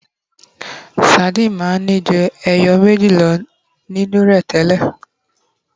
sardine ma n Ni ju eyo ẹja meji lo nínu rẹ tẹlẹ